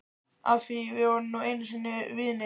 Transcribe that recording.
Af því við vorum nú einu sinni vinir.